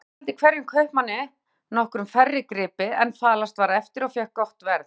Grímur seldi hverjum kaupmanni nokkru færri gripi en falast var eftir og fékk gott verð.